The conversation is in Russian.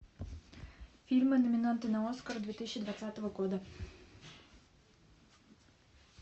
фильмы номинанты на оскар две тысячи двадцатого года